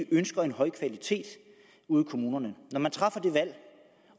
ønsker en høj kvalitet ude i kommunerne når man træffer det valg